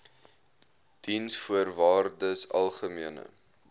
diensvoorwaardesalgemene